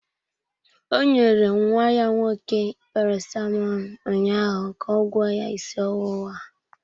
Ọ nyere nwa ya nwoke Paracetamọl ụnyaahụ ga ọ gwọọ ya isi ọwụwa